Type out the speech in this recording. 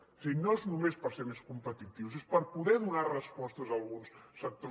és a dir no és només per ser més competitius és per poder donar respostes a alguns sectors